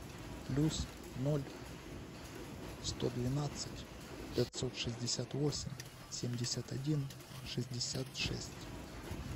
плюс ноль сто двенадцать пятьсот шестьдесят восемь семьдесят один шестьдесят шесть